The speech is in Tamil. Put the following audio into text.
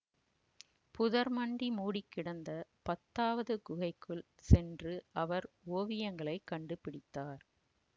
புதர்மண்டி மூடிக்கிடந்த பத்தாவது குகைக்குள் சென்று அவர் ஓவியங்களைக் கண்டுபிடித்தார்